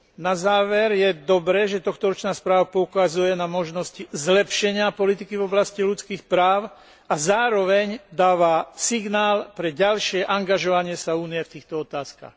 Na záver je dobré, že tohtoročná správa poukazuje na možnosti zlepšenia politiky v oblasti ľudských práv a zároveň dáva signál pre ďalšie angažovanie sa Únie v týchto otázkach.